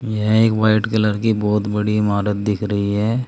यह एक white colour की बहोत बड़ी इमारत दिख रही है।